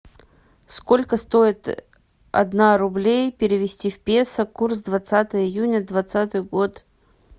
сколько стоит одна рублей перевести в песо курс двадцатое июня двадцатый год